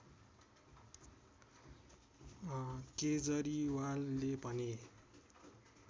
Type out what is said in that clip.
केजरीवालले भने